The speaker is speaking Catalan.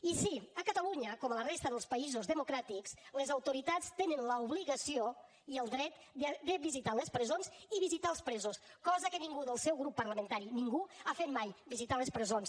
i sí a catalunya com a la resta dels països democràtics les autoritats tenen l’obligació i el dret de visitar les presons i visitar els presos cosa que ningú del seu grup parlamentari ningú ha fet mai visitar les presons